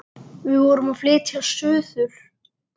Við vorum að flytja suður.